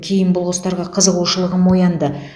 кейін бұл құстарға қызығушылығым оянды